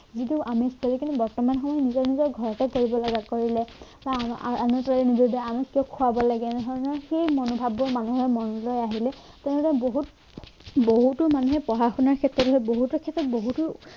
কিন্তু অনুষ্ঠানখিনি বৰ্তমান সময়ত নিজৰ নিজৰ ঘৰতে কৰিব লগা কৰি লয় মই আমুকটো আনি আমুকটো খোৱাব লাগে নহয় ন সেই মনোভাৱবোৰ মানুহৰ মনলে আহিলে কোনোবা বহুত বহুতো মানুহে পঢ়া শুনা ক্ষেত্ৰত হওক বহুতো ক্ষেত্ৰত বহুতো